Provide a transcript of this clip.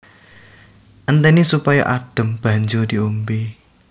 Entèni supaya adhem banjur diombé